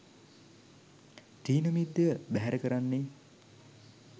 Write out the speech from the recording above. ථීනමිද්ධය බැහැර කරන්නේ